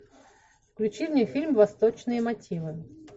включи мне фильм восточные мотивы